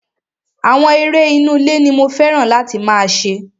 Àwọn eré inú ilé ní mo fẹ́ràn láti máa ṣe.